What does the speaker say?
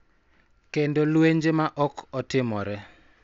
Kendo lwenje ma ok otimore .